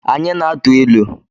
Anyị na-atụ ilu